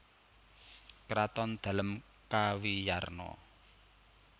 Kraton Dalem kawiyarna